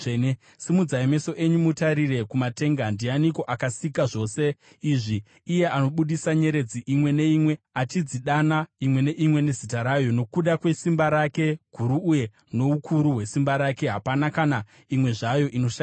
Simudzai meso enyu mutarire kumatenga. Ndianiko akasika zvose izvi? Iye anobudisa nyeredzi imwe imwe, achidzidana imwe neimwe nezita rayo. Nokuda kwesimba rake guru uye noukuru hwesimba rake, hapana kana imwe zvayo inoshayikwa.